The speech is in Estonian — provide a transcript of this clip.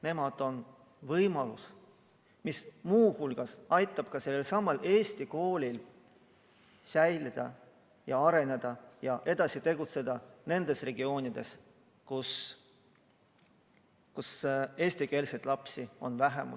Nemad on võimalus, mis muu hulgas aitab sellelsamal Eesti koolil säilida ja areneda ja edasi tegutseda nendes regioonides, kus eesti emakeelega lapsi on vähem.